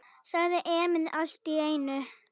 sagði Emil allt í einu.